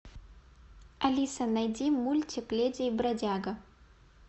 алиса найди мультик леди и бродяга